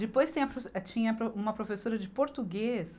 Depois, tem a profe, tinha uma professora de português